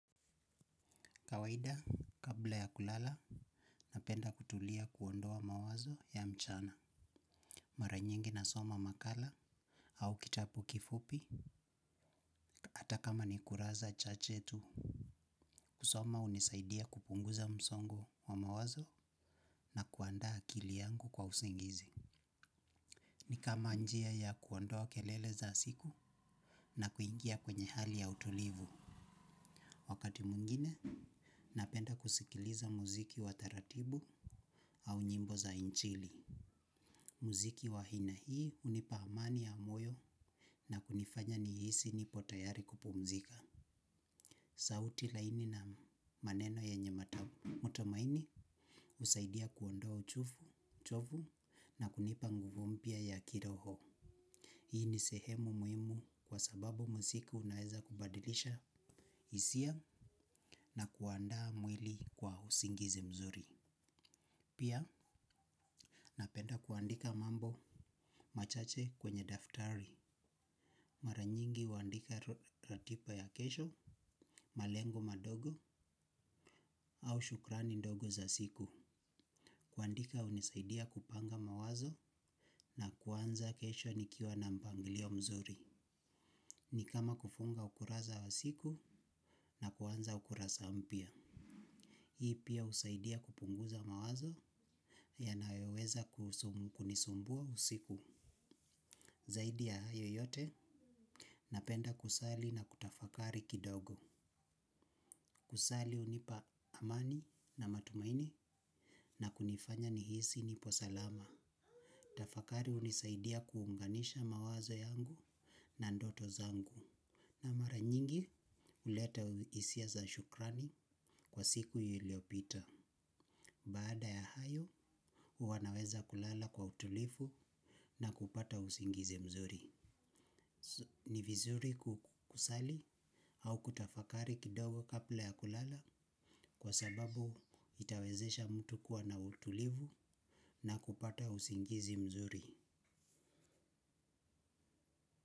Kawaida, kabla ya kulala, napenda kutulia kuondoa mawazo ya mchana. Mara nyingi nasoma makala au kitapu kifupi, ata kama ni kuraza chache tu. Kusoma unisaidia kupunguza msongo wa mawazo na kuandaa akili yangu kwa usingizi. Ni kama njia ya kuondoa kelele za siku na kuingia kwenye hali ya utulivu. Wakati mwngine, napenda kusikiliza muziki wa taratibu au nyimbo za inchili. Muziki wahina hii unipa amani ya moyo na kunifanya nihisi nipo tayari kupumzika. Sauti laini na maneno yenye ''mata'' mutumaini usaidia kuondoa uchovu na kunipa nguvu mpya ya kiroho. Hii ni sehemu muimu kwa sababu mziki unaeza kubadilisha isia na kuandaa mwili kwa usingizi mzuri. Pia napenda kuandika mambo machache kwenye daftari. Mara nyingi huandika ratiba ya kesho, malengo madogo au shukrani ndogo za siku. Kuandika unisaidia kupanga mawazo na kuanza kesho nikiwa na mpangilio mzuri. Ni kama kufunga ukuraza wa siku na kuanza ukuraza mpya. Hii pia usaidia kupunguza mawazo, yanayoweza kunisumbua usiku. Zaidi ya hayo yote, napenda kusali na kutafakari kidogo. Kusali hunipa amani na matumaini na kunifanya nihisi niko salama. Tafakari unisaidia kuunganisha mawazo yangu na ndoto zangu. Na mara nyingi, uleta isia za shukrani, kwa siku iyiliopita. Baada ya hayo, uwa naweza kulala kwa utulifu na kupata usingizi mzuri. Ni vizuri kukusali au kutafakari kidogo kapla ya kulala kwa sababu itawezesha mtu kuwa na utulivu na kupata usingizi mzuri.